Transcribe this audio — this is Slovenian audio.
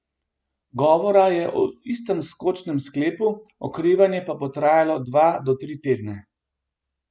Govora je o istem skočnem sklepu, okrevanje pa bo trajalo dva do tri tedne.